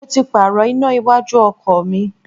Mo ti Pààrọ̀ iná iwájú ọkọ̀ mi